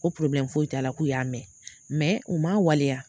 O foyi t'a la k'u y'a mɛn u man waleya.